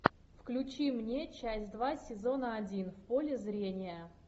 включи мне часть два сезона один в поле зрения